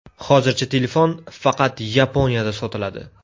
Hozircha telefon faqat Yaponiyada sotiladi.